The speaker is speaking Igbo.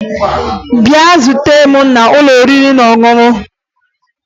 Bịa zute m n'ụlọ oriri na ọṅụṅụ!